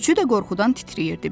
Üçü də qorxudan titrəyirdi.